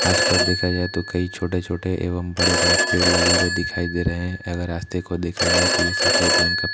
आस-पास देखा जाए तो कई छोटे-छोटे एवं बड़े-बड़े पेड़ लगे हुए दिखाई दे रहे हैं अगर रास्ते को देखा जाए तो ये सफेद रंग का --